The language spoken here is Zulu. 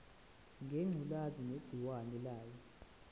ngengculazi negciwane layo